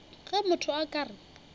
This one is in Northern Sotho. ge motho a ka re